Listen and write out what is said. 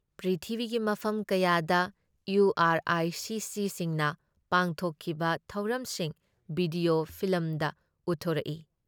ꯄ꯭ꯔꯤꯊꯤꯕꯤꯒꯤ ꯃꯐꯝ ꯀꯌꯥꯗ ꯏꯌꯨ ꯑꯥꯔ ꯑꯥꯏ ꯁꯤꯁꯤꯁꯤꯡꯅ ꯄꯥꯡꯊꯣꯛꯈꯤꯕ ꯊꯧꯔꯝꯁꯤꯡ ꯚꯤꯗꯤꯑꯣ ꯐꯤꯂꯝꯗ ꯎꯠꯊꯣꯔꯛꯏ ꯫